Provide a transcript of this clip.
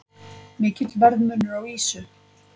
Mikill verðmunur á ýsu